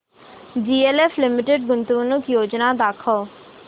DLF limited गुंतवणूक योजना दाखव